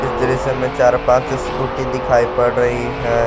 इस दृश्य में चार पांच स्कूटी दिखाई पड़ रही है।